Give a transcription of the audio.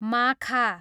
माखा